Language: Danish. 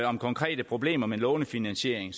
om konkrete problemer med lånefinansiering